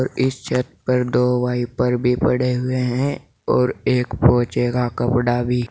इस छत पर दो वाइपर भी पड़े हुए हैं और एक फौजी का कपड़ा भी।